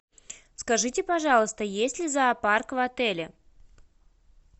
скажите пожалуйста есть ли зоопарк в отеле